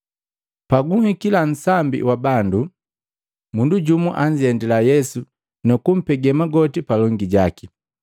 Pabuguhikila nsambi wa bandu, mundu jumu anzendila Yesu nukumpege magoti palongi jaki,